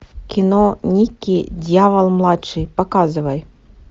кино никки дьявол младший показывай